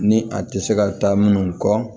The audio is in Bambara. Ni a tɛ se ka taa minnu kɔ